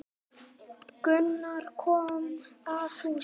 Gunnar komu að húsinu.